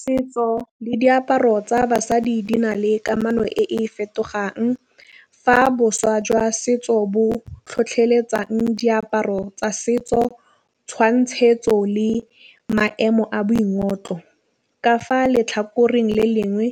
Setso le diaparo tsa basadi di na le kamano e e fetogang. Fa boswa jwa setso bo tlhotlheletsang diaparo tsa setso tšhwantšhetso le maemo a boingotlo. Ka fa letlhakoreng le lengwe